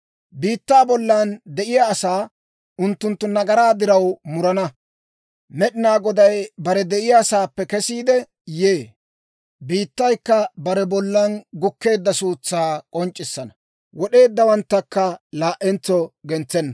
Biittaa bollan de'iyaa asaa, unttunttu nagaraa diraw murana, Med'inaa Goday bare de'iyaasaappe kesiide yee. Biittaykka bare bollan gukkeedda suutsaa k'onc'c'issana; wod'eeddawanttakka laa"entso gentsenna.